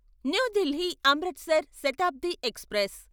new Delhi Amritsar Shatabdi express